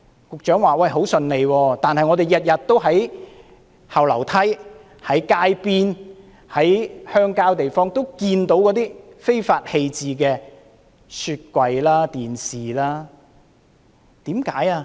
局長說很順利，但我們天天都在後樓梯、街邊和鄉郊地方看到被人非法棄置的雪櫃和電視。